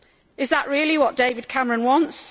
Is that really what David Cameron wants?